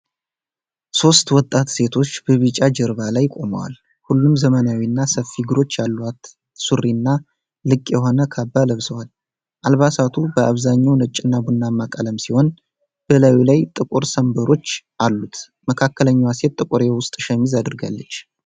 ሦስት ወጣት ሴቶች በቢጫ ጀርባ ላይ ቆመዋል። ሁሉም ዘመናዊና ሰፊ እግሮች ያሉት ሱሪና ልቅ የሆነ ካባ ለብሰዋል። አልባሳቱ በአብዛኛው ነጭና ቡናማ ቀለም ሲሆን፣ በላዩ ላይ ጥቁር ሰንብሮች አሉ። መካከለኛዋ ሴት ጥቁር የውስጥ ሸሚዝ አድርጋለች